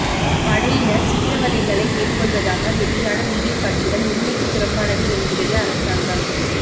படையினர் சித்திரவதைகளை மேற்கொள்வதாக வெளியான வீடியோ காட்சிகள் உண்மைக்குப் புறம்பானது என்கிறது அரசாங்கம்